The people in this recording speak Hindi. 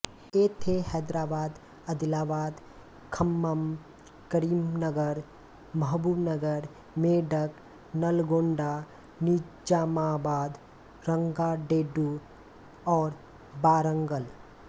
ये थे हैदराबाद अदिलाबाद खम्मम करीमनगर महबूबनगर मेडक नलगोंडा निजामाबाद रंगारेड्डी और वारंगल